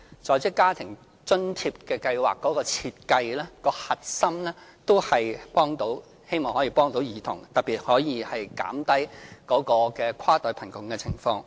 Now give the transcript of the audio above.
在職家庭津貼計劃的設計核心，也是希望幫助兒童，特別是希望減低跨代貧窮的情況。